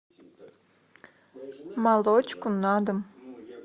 молочку на дом